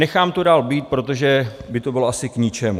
Nechám to dál být, protože by to bylo asi k ničemu.